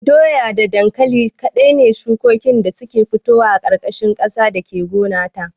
Da doya da dankali kaɗai ne shukoki masu fitowa a ƙarƙashin ƙasa da ke gona ta